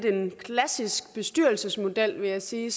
en klassisk bestyrelsesmodel vil jeg sige